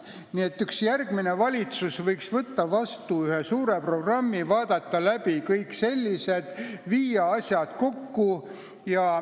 Üks järgmine valitsus võiks vaadata läbi kõik sellised probleemid ja viia asjad kokku.